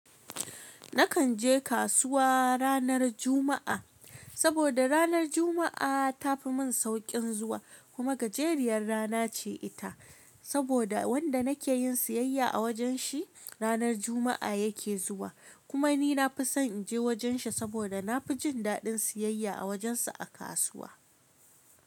Nakan je kasuwa ranar Juma'a, saboda ranar Juma'a ta fi mun sauƙin zuwa kuma gajeriyar rana ce ita. Saboda wanda nake yin siyayya a wajen shi ranar Juma'a yake zuwa. Kuma ni na fi son in je wajen shi saboda na fi jin daɗin siyayya a wajen sa a kasuwa.